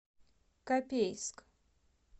копейск